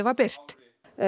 var birt